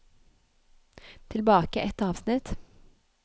Tilbake ett avsnitt